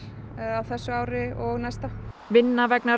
á þessu ári og næsta vinna vegna